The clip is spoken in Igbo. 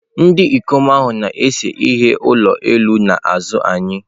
Ndị ikom ahụ na-ese ihe ụlọ elu n'azụ anyị.